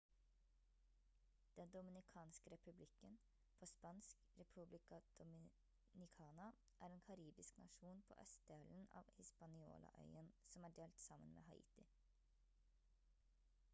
den dominikanske republikken på spansk: república dominicana er en karibisk nasjon på østdelen av hispaniola-øyen som er delt sammen med haiti